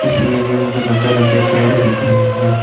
इस इमेज मुझे लंबे लंबे पेड़ दिख रहे हैं।